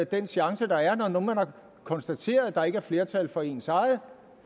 den chance der er når nu man har konstateret at der ikke er flertal for ens eget